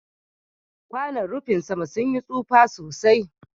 kwanon rufin sama sun yi taufa sosai.